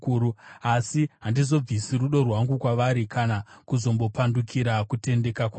asi handizobvisi rudo rwangu kwavari, kana kuzombopandukira kutendeka kwangu.